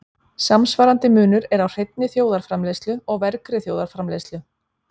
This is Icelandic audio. Samsvarandi munur er á hreinni þjóðarframleiðslu og vergri þjóðarframleiðslu.